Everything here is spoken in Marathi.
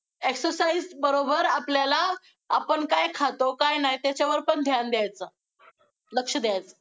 Exercise बरोबर आपल्याला, आपण काय खातो, काय नाही, त्याच्यावर पण ध्यान द्यायचं, लक्ष द्यायचं.